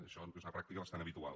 això és una pràctica bastant habitual